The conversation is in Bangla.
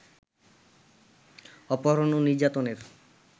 অপহরণ ও নির্যাতনের